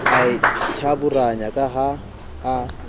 a ithaburanya ka ha a